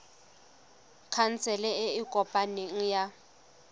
khansele e e kopaneng ya